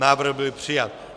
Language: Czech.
Návrh byl přijat.